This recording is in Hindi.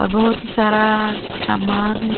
बहुत ही सारा सामान है।